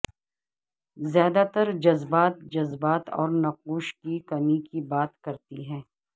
زیادہ تر جذبات جذبات اور نقوش کی کمی کی بات کرتی ہے